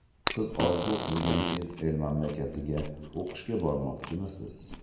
Siz orzu qilgan chet el mamlakatiga o‘qishga bormoqchimisiz?